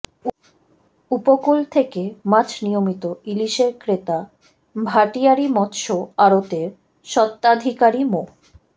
উপকূল থেকে মাছ নিয়মিত ইলিশের ক্রেতা ভাটিয়ারী মৎস্য আড়তের সত্বাধিকারী মো